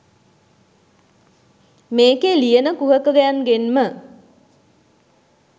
මේකේ ලියන කුහකයන්ගෙන්ම